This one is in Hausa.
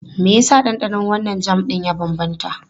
Me yasa ɗanɗanon wannan jam ɗin ya bambanta?